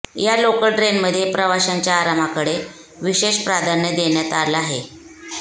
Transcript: या लोकल ट्रेनमध्ये प्रवाशांच्या आरामाकडे विशेष प्राधान्य देण्यात आलं आहे